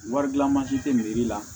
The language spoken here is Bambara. Wari gilan mansi tɛ miiri la